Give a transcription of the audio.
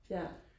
ja